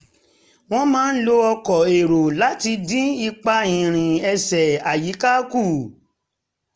a máa ń lo ọkọ̀ èrò láti dín ipa ìrìn ẹsẹ̀ àyíká kù